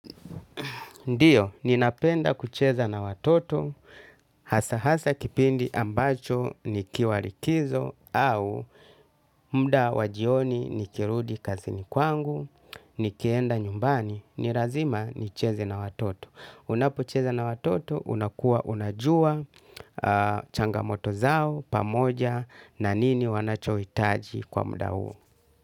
Ndiyo, ninapenda kucheza na watoto, hasa hasa kipindi ambacho nikiwalikizo au mda wajioni nikirudi kazi ni kwangu, nikienda nyumbani, nirazima nicheze na watoto. Unapocheza na watoto, unakua unajua changamoto zao pamoja na nini wanachohitaji kwa mda huo.